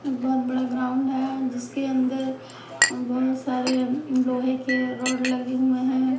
एक बहुत बड़ा ग्राउंड है जिसके अंदर अ बहुत सारे लोहे के रोड लगे हुए हैं।